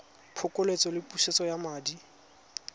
phokoletso le pusetso ya madi